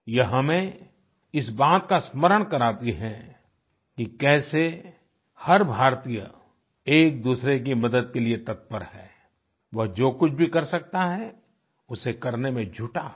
यह हमें इस बात का स्मरण कराती हैं कि कैसे हर भारतीय एकदूसरे की मदद के लिए तत्पर हैं वह जो कुछ भी कर सकता है उसे करने में जुटा है